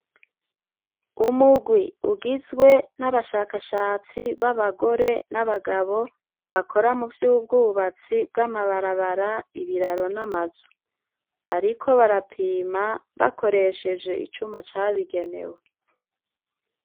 Umugwi ugizwe n'abashakashatsi b'abagore n'abagabo bakora mu vy'ubwubatsi bw'amabarabara, ibiraro, n'amazu, bariko barapima bakoresheje icuma cabigenewe.